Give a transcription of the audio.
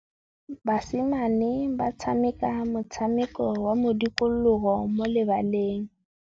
Basimane ba tshameka motshameko wa modikologô mo lebaleng.